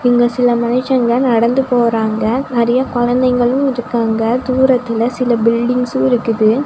இங்க சில மனுஷங்க நடந்து போறாங்க நெறய கொழந்தைகளு இருக்காங்க தூரத்துல சில பில்டிங்சு இருக்குது.